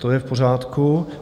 To je v pořádku.